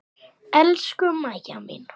Elsku Maja mín.